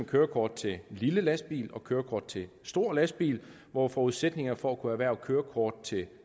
kørekort til lille lastbil og kørekort til stor lastbil hvor forudsætningen for at kunne erhverve kørekort til